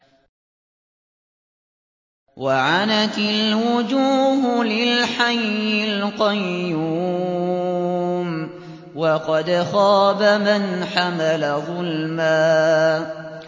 ۞ وَعَنَتِ الْوُجُوهُ لِلْحَيِّ الْقَيُّومِ ۖ وَقَدْ خَابَ مَنْ حَمَلَ ظُلْمًا